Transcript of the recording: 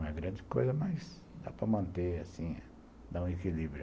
Não é grande coisa, mas dá para manter, assim, dá um equilíbrio.